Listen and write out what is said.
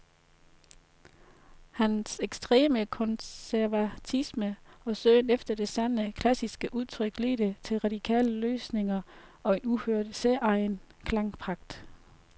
Hans ekstreme konservatisme og søgen efter det sande, klassiske udtryk ledte til radikale løsninger og en uhørt, særegen klangpragt.